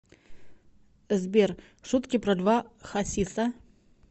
сбер шутки про льва хасиса